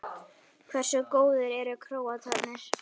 Hversu góðir eru Króatarnir?